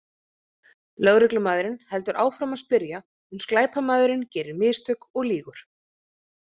Lögreglumaðurinn heldur áfram að spyrja uns glæpamaðurinn gerir mistök og lýgur.